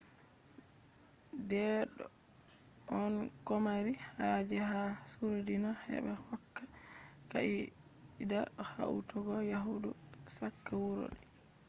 deedo on komari haje ha suurdina heba hokka ka’ida hautogo yahdu chaka wuro didi